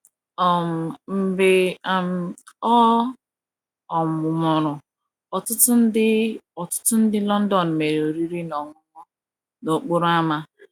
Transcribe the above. um Mgbe um ọ um nwụrụ, ọtụtụ ndị, ọtụtụ ndị London mere oriri na ọṅụṅụ n’okporo ámá.